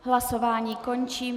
Hlasování končím.